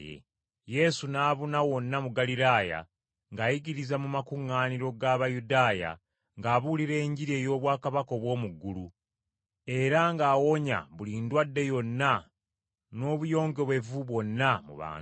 Yesu n’abuna wonna mu Ggaliraaya ng’ayigiriza mu makuŋŋaaniro g’Abayudaaya ng’abuulira Enjiri ey’obwakabaka obw’omu ggulu, era ng’awonya buli ndwadde yonna n’obuyongobevu bwonna mu bantu.